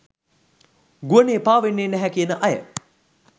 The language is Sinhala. ගුවනේ පාවෙන්නේ නැහැ කියන අය